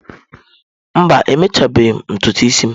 Mba, emechabeghị m ntutu isi m.